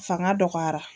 Fanga dɔgɔyara